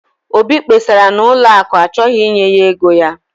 obi kpesara na ụlọ akụ achọghị inye ya ego ya